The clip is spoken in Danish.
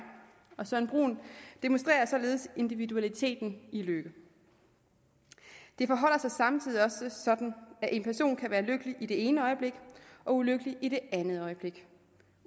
og søren brun demonstrerer således individualiteten i lykke det forholder sig samtidig også sådan at en person kan være lykkelig i det ene øjeblik og ulykkelig i det andet øjeblik